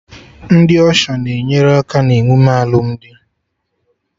Ndị Ọsha na-enyere aka na emume alụmdi